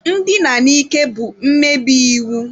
Ndina n'ike bụ mmebi iwu.